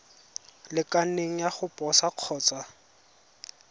lekaneng ya go posa kgotsa